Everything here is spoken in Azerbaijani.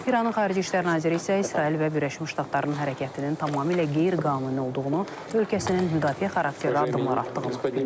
İranın xarici İşlər naziri isə İsrail və Birləşmiş Ştatların hərəkətinin tamamilə qeyri-qanuni olduğunu, ölkəsinin müdafiə xarakterli addımlar atdığını bildirib.